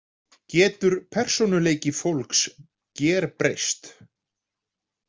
Getur persónuleiki fólks gerbreyst?